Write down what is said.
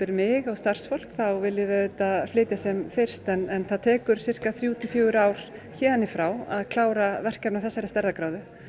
mig og starfsfólk bankans þá viljum við auðvitað flytja sem fyrst en það tekur þrjú til fjögur ár héðan í frá að klára verkefni af þessari stærðargráðu